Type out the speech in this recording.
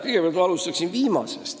Kõigepealt ma alustan viimasest lausest.